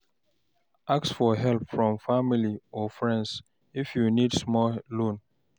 Ask for help from family or friends, if you need small loan.